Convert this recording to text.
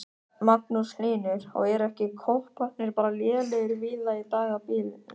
Magnús Hlynur: Og eru ekki kopparnir bara lélegir víða í dag á bílum?